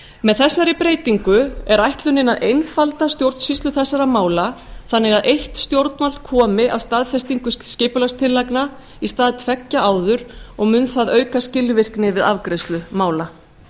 með þessari breytingu er ætlunin að einfalda stjórnsýslu þessara mála þannig að eitt stjórnvald komi að staðfestingu skipulagstillagna í stað tveggja áður og mun það auka skilvirkni við afgreiðslu mála